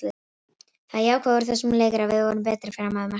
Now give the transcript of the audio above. Það jákvæða úr þessum leik er að við vorum betri fram að markinu.